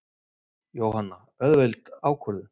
Jóhanna: Auðveld ákvörðun?